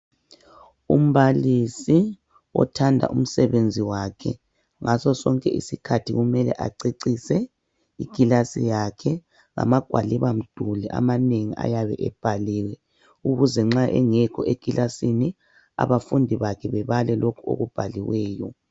Umbalisi othanda umsebenzi wakhe ngaso sonke isikhathi kumele acecise ikilasi yakhe ngama gwaliba mduli amanengi ayabe ebhaliwe ukuze nxa engekho ekilasini abafundi bakhe babale lokhu okubhaliweyo.